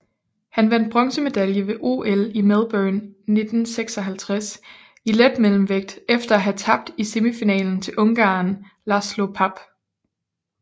Han vandt bronzemedalje ved OL i Melbourne 1956 i letmellemvægt efter at have tabt i semifinalen til ungareren László Papp